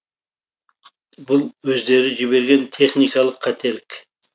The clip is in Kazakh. бұл өздері жіберген техникалық қателік